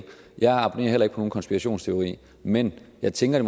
jeg abonnerer heller ikke på nogen konspirationsteori men jeg tænker at